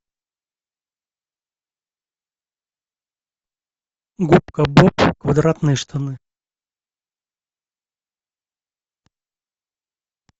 губка боб квадратные штаны